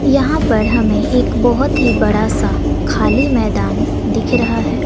यहां पर हमें एक बहुत ही बड़ा सा खाली मैदान दिख रहा है।